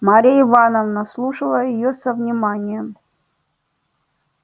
марья ивановна слушала её со вниманием